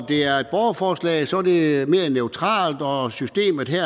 det er et borgerforslag er det mere neutralt og systemet her